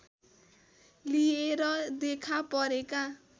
लिएर देखा परेका